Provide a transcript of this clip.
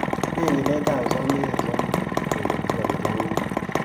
Nee nyiletap sosom eng' sosom keketchi konyil ang'wan